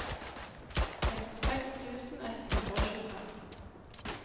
sekstiseks tusen ett hundre og tjuefem